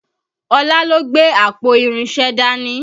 Ọlá ló gbé àpò irinṣẹ́ dání